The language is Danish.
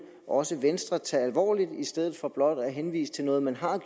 også venstre tage alvorligt i stedet for blot at henvise til noget man